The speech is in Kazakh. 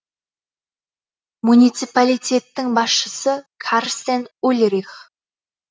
муниципалитеттің басшысы карстен ульрих